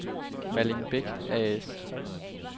Malling Beck A/S